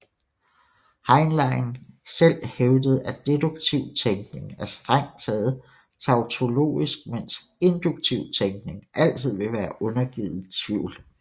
Heinlein selv hævdede at deduktiv tænkning er strengt taget tautologisk mens induktiv tænkning altid vil være undergivet tvivl